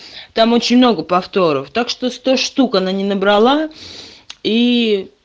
там очень много повторов так что сто штук она не набрала и